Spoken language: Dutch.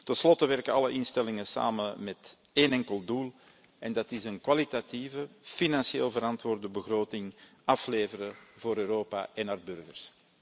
Tenslotte werken alle instellingen samen met één enkel doel en dat is een kwalitatieve, financieel verantwoorde begroting afleveren voor Europa en haar burgers.